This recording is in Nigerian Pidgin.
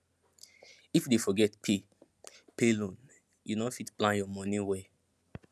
if you dey forget pay pay loan you no fit plan your money well